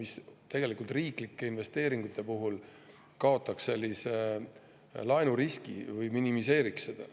See kaotaks riiklike investeeringute puhul laenuriski või minimeeriks seda.